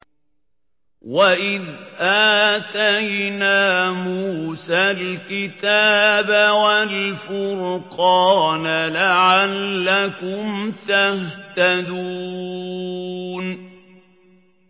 وَإِذْ آتَيْنَا مُوسَى الْكِتَابَ وَالْفُرْقَانَ لَعَلَّكُمْ تَهْتَدُونَ